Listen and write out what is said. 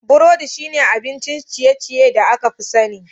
Burodi shine abin ciye-ciye da aka fi sani.